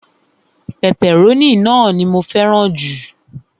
pẹpẹrónì ni mó fẹràn ju